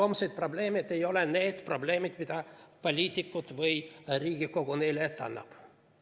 Homseid probleeme – need ei ole need probleemid, mida poliitikud või Riigikogu neile ette annab.